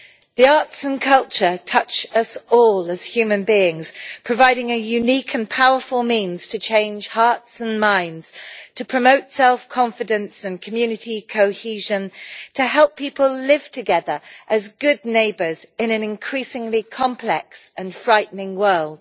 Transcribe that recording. The arts and culture touch us all as human beings, providing a unique and powerful means to change hearts and minds, to promote self confidence and community cohesion, and to help people live together as good neighbours in an increasingly complex and frightening world.